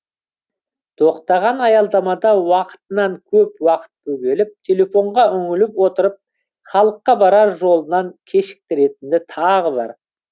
тоқтаған аялдамада уақытынан көп уақыт бөгеліп телефонға үңіліп отырып халыққа барар жолынан кешіктіретіні тағы бар